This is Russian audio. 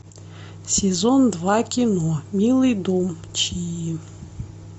сезон два кино милый дом чии